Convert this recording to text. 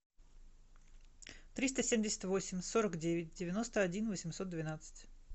триста семьдесят восемь сорок девять девяносто один восемьсот двенадцать